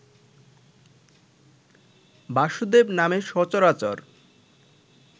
বাসুদেব নামে সচরাচর